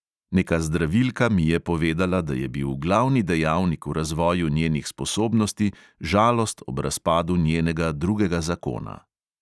Neka zdravilka mi je povedala, da je bil glavni dejavnik v razvoju njenih sposobnosti žalost ob razpadu njenega drugega zakona.